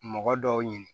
Mɔgɔ dɔw ɲini